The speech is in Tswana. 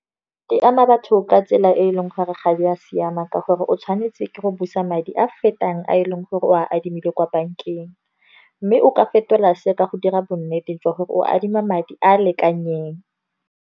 Di ama batho ka tsela e e leng gore ga di a siama, ka gore o tshwanetse ke go busa madi a fetang a e leng gore o a adimile kwa bank-eng. Mme o ka fetola se ka go dira bonnete jwa gore o adima madi a a lekaneng.